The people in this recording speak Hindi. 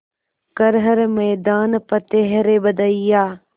कर हर मैदान फ़तेह रे बंदेया